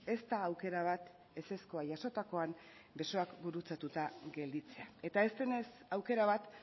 ez da aukera bat ezezkoa jasotakoan besoak gurutzatuta gelditzea eta ez denez aukera bat